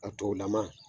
A tolama